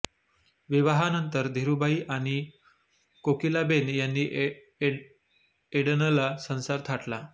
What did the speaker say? विवाहानंतर धीरूभाई आणि कोकिलाबेन यांनी एडनला संसार थाटला